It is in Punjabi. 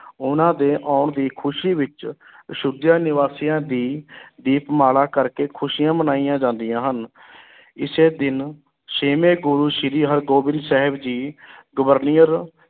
ਉਨ੍ਹਾਂ ਦੇ ਆਉਣ ਦੀ ਖ਼ੁਸ਼ੀ ਵਿੱਚ ਅਯੋਧਿਆ ਨਿਵਾਸੀਆਂ ਦੀ ਦੀਪਮਾਲਾ ਕਰਕੇ ਖ਼ੁਸ਼ੀਆਂ ਮਨਾਈਆਂ ਜਾਂਦੀਆਂ ਹਨ ਇਸੇ ਦਿਨ ਛੇਵੇਂ ਗੁਰੂ ਸ੍ਰੀ ਹਰਗੋਬਿੰਦ ਸਾਹਿਬ ਜੀ ਗਵਾਲੀਅਰ